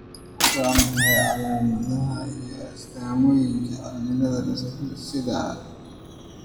Waa maxay calaamadaha iyo astaamaha cilada dysautonomia sida ?